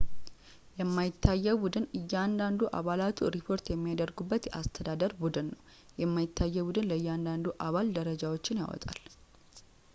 የማይታየው ቡድን እያንዳንዱ አባላቱ ሪፖርት የሚያደርጉበት የአስተዳደር ቡድን ነው የማይታየው ቡድን ለእያንዳንዱ አባል ደረጃዎችን ያወጣል